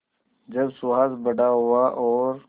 जब सुहास बड़ा हुआ और